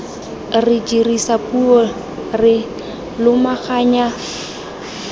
re dirisa puo re lomaganya